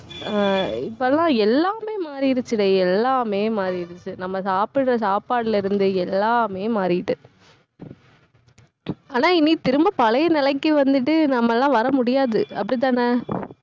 ஆஹ் இப்பெல்லாம் எல்லாமே மாறிடுச்சுடே. எல்லாமே மாறிடுச்சு. நம்ம சாப்பிடுற சாப்பாட்டுல இருந்து எல்லாமே மாறிட்டு ஆனா இனி திரும்ப பழைய நிலைக்கு வந்துட்டு நம்ம எல்லாம் வர முடியாது. அப்படிதானே